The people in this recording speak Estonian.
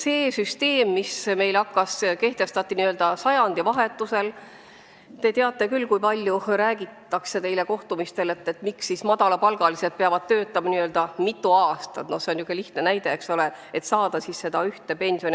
See süsteem, mis meil kehtestati sajandivahetusel – te teate küll, kui palju räägitakse kohtumistel valijatega, miks madalapalgalised inimesed peavad töötama mitu aastat, et saada täis seda koefitsienti 1.